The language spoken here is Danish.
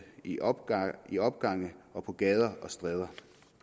i opgange i opgange og på gader og stræder